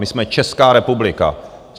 My jsme Česká republika.